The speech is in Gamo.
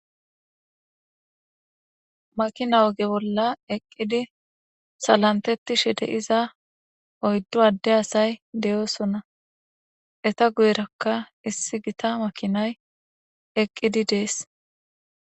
Makina oge bolla eqqidi salantettishe de7iza oyddo adde asay de7oosona. Eta guyerakka issi gita makinay eqqidi de7ees.